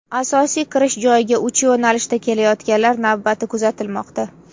Asosiy kirish joyiga uch yo‘nalishda kelayotganlar navbati kuzatilmoqda.